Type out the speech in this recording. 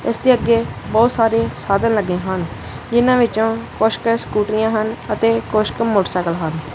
ਇਸਦੇ ਅੱਗੇ ਬੋਹੁਤ ਸਾਰੇ ਸਾਧਨ ਲੱਗੇ ਹਨ ਜਿਹਨਾਂ ਵਿੱਚੋਂ ਕੁੱਛਕ ਸਕੂਟ੍ਰੀਆਂ ਹਨ ਅਤੇ ਕੁੱਛਕ ਮੋਟਰਸਾਈਕਲ ਹਨ।